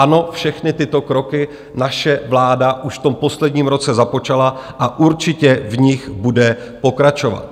Ano, všechny tyto kroky naše vláda už v tom posledním roce započala a určitě v nich bude pokračovat.